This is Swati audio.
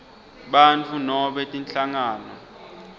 bantfu nobe tinhlangano